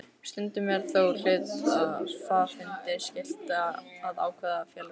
Stundum er þó hluthafafundi skylt að ákveða félagsslit.